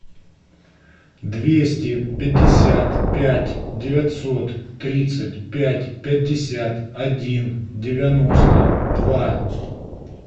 двести пятьдесят пять девятьсот тридцать пять пятьдесят один девяносто два